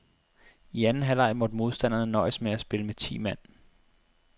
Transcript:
I anden halvleg måtte modstanderne nøjes med at spille med ti mand.